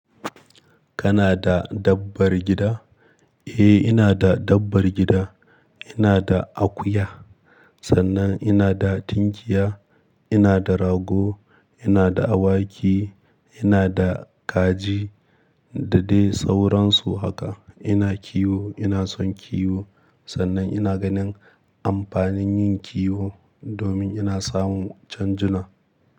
Kana da dabbar gida? Eh inada dabbar gida. Inada akuya, sannan inada tinkiya, inada rago, inada awaki, inada kaji da dai sauransu haka. Ina kiwo, ina son kiwo sannan ina ganin amfanin yin kiwo domin ina samun canjuna.